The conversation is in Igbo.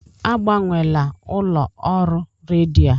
Agbanwela ụlọ ọrụ redio a!